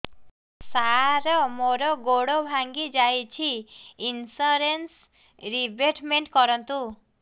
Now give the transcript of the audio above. ସାର ମୋର ଗୋଡ ଭାଙ୍ଗି ଯାଇଛି ଇନ୍ସୁରେନ୍ସ ରିବେଟମେଣ୍ଟ କରୁନ୍ତୁ